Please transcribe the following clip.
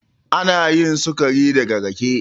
Anayin sukari daga rake.